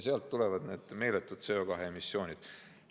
Sealt tulevad need meeletud CO2 emissioonid.